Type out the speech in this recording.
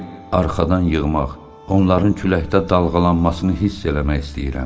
Darıyıb arxadan yığmaq, onların küləkdə dalğalanmasını hiss eləmək istəyirəm.